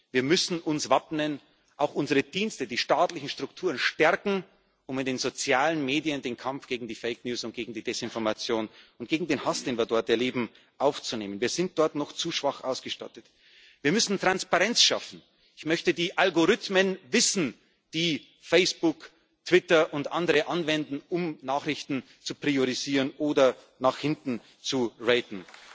Wir müssen uns wappnen, auch unsere Dienste, die staatlichen Strukturen stärken, um in den sozialen Medien den Kampf gegen die fake news und gegen die Desinformation und gegen den Hass, den wir dort erleben, aufzunehmen. Wir sind dort noch zu schwach ausgestattet, wir müssen Transparenz schaffen. Ich möchte die Algorithmen kennen, die Facebook, Twitter und andere anwenden, um Nachrichten zu priorisieren oder nach hinten zu